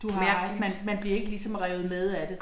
Du har ret, man man bliver ikke ligesom revet med af det